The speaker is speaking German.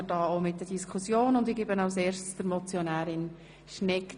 Wir kommen zu Traktandum 27, eine dringliche Motion der EVP.